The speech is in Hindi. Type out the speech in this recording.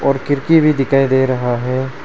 और खिड़की भी दिखाई दे रहा है।